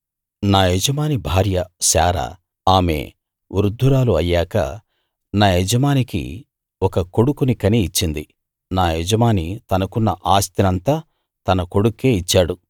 నా యజమాని భార్య శారా ఆమె వృద్ధురాలు అయ్యాక నా యజమానికి ఒక కొడుకుని కని ఇచ్చింది నా యజమాని తనకున్న ఆస్తినంతా తన కొడుక్కే ఇచ్చాడు